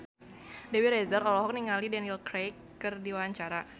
Dewi Rezer olohok ningali Daniel Craig keur diwawancara